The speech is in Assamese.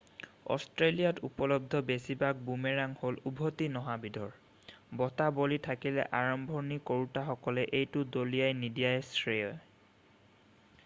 অষ্ট্ৰেলিয়াত উপলব্ধ বেছিভাগ বুমেৰাং হ'ল উভতি নহা বিধৰ বতাহ বলি থাকিলে আৰম্ভণি কৰোঁতাসকলে এইটো দলিয়াই নিদিয়াই শ্ৰেয়